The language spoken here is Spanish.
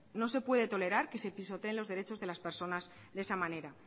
no se puede tolerar que se pisoteen los derechos de las personas de esa manera